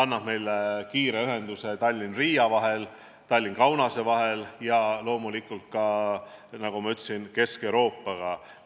Peale selle saame kiire ühenduse Tallinna ja Riia vahel, Tallinna ja Kaunase vahel ning loomulikult ka, nagu ma ütlesin, saame ühenduse Kesk-Euroopaga.